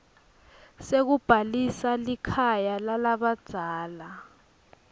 sekubhalisa likhaya lalabadzala